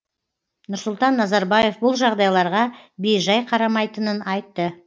нұрсұлтан назарбаев бұл жағдайларға бейжай қарамайтынын айтты